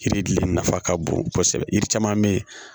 Yiri gili nafa ka bon kosɛbɛ yiri caman bɛ ye